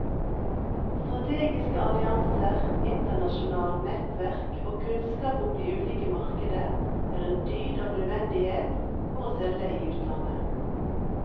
Strategiske allianser, internasjonalt nettverk og kunnskap om de ulike markeder er en dyd av nødvendighet for å selge i utlandet.